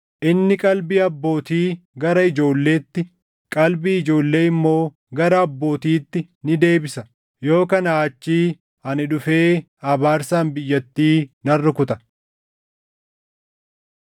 Inni qalbii abbootii gara ijoolleetti, qalbii ijoollee immoo gara abbootiitti ni deebisa; yoo kanaa achii ani dhufee abaarsaan biyyattii nan rukuta.”